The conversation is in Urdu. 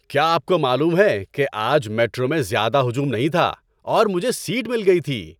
کیا آپ کو معلوم ہے کہ آج میٹرو میں زیادہ ہجوم نہیں تھا اور مجھے سیٹ مل گئی تھی؟